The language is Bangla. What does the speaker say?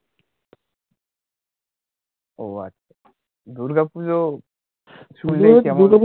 ও আচ্ছা দূর্গা পূজো শুনলে